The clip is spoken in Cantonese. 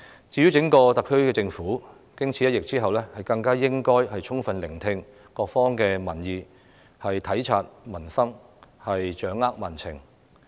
整個特區政府經此一役，更應該充分聆聽各方民意，體察民生，掌握民情。